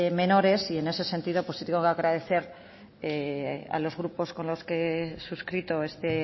menores y en ese sentido sí tengo que agradecer a los grupos con los que he suscrito esta